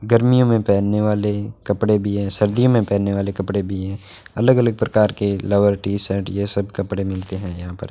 गर्मियों में पहनने वाले कपड़े भी हैं सर्दियों में पहनने वाले कपड़े भी हैं अलग अलग प्रकार के लावर्टी शर्ट ये सब कपड़े मिलते हैं यहां पर।